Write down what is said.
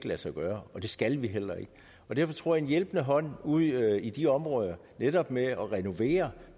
lade sig gøre det skal vi heller ikke og derfor tror en hjælpende hånd ude i de områder netop med at renovere